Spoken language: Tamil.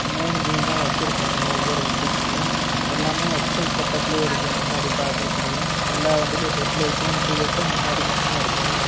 மூணு வீல் தான் வெச்சுருக்காங்க ஒவ்வொரு வண்டிக்குமே எல்லாமே எக்ஸ்_எல் செட்டப்ல இருக்கு முன்னாடி பாக்குறதுக்கு எல்லா வண்டிலயு ஹெட் லைட்டும் இண்டிகேட்டரும் முன்னாடி மட்டுதா இருக்கு.